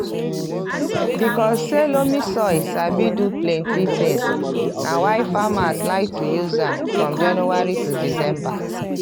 because say loamy soil sabi do plenti tins na why farmers like to use am from january to december.